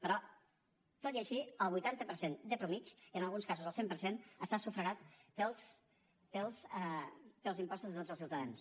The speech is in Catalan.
però tot i així el vuitanta per cent de mitjana i en alguns casos el cent per cent està sufragat pels impostos de tots els ciutadans